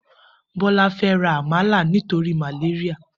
Bola fè rà àmálá nitóri màlériá